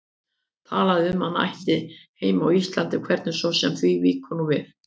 Talaði um að hann ætti heima á Íslandi, hvernig svo sem því víkur nú við.